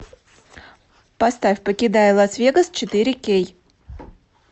поставь покидая лас вегас четыре кей